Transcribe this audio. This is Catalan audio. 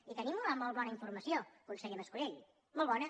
i tenim una molt bona informació conseller mas colell molt bona